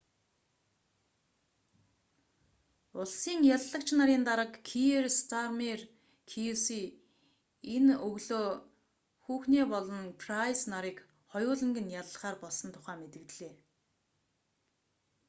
улсын яллагч нарын дарга киер стармер кьюси энэ өглөө хухне болон прайс нарыг хоёуланг нь яллахаар болсон тухай мэдэгдлээ